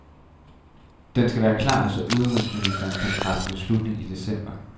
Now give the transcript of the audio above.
Den skal være klar, så udenrigsministrene kan tage træffe beslutning i december.